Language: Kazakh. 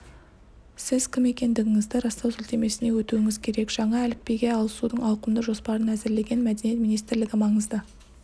сіз кім екендігіңізді растау сілтемесіне өтуіңіз керек жаңа әліпбиге ауысудың ауқымды жоспарын әзірлеген мәдениет министрлігі маңызды